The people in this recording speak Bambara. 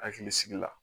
Hakili sigi la